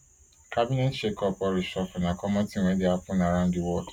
cabinet shakeup or reshuffle na common tin wey dey happun around di world